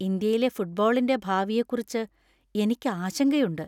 ഇന്ത്യയിലെ ഫുട്‌ബോളിന്‍റെ ഭാവിയെക്കുറിച്ച് എനിക്ക് ആശങ്കയുണ്ട്.